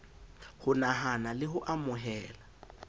ho nahana le ho amohela